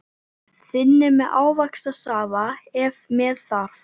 Þynnið með ávaxtasafa ef með þarf.